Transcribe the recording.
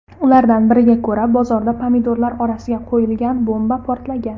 Ulardan biriga ko‘ra, bozorda pomidorlar orasiga qo‘yilgan bomba portlagan.